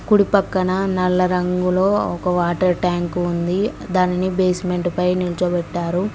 కుడి పక్కన నల్ల రంగులో ఒక వాటర్ ట్యాంక్ ఉంది దానిని బేస్మెంట్ పై నిల్చబెట్టారు.